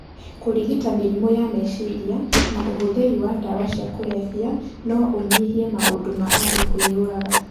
Kúrigita mĩrimũ ya meciria na ũhũthĩri wa ndawa cia kũrebia no ũnyihie maũndũ ma andú kwïyũraga.